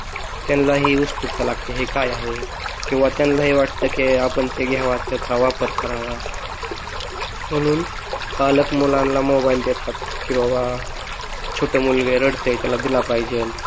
त्यांनाही उत्सुकता लागते कि हे काय आहे, किंवा त्यांना हे वाटत की आपण ते घ्यावा त्याचा वापर करावा म्हणून पालक मुलांना मोबाइल देतात कि बाबा छोटे मुलग आहे रडतेय त्याला दिला पाहिजेल.